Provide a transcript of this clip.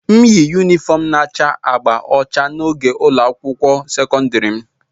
m yi yunifọm na-acha agba ọcha na oge ụlọ akwụkwọ sekọndrị m